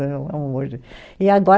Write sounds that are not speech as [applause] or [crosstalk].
[unintelligible] E agora